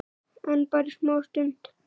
En bara í smá stund.